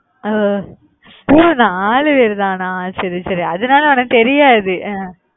ஒஹ் மூணு நாலு பேரு தானா? சரி சரி அதனால உனக்கு தெரியாது ஹம்